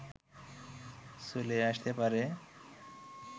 চলে আসতে পারে